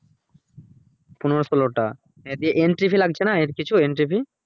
পনেরো ষোলো টা দিয়ে entry fee লাগছে না? এর কিছু entry fee